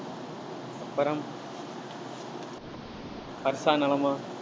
வர்ஷா நலமா